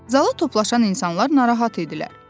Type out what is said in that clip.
Zala toplaşan insanlar narahat idilər.